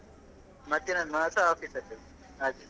ಮಧ್ಯಾಹ್ನದ ಒನಸ್ ಮಾತ್ರ office ಅಲ್ಲಿ ಹಾಗೆ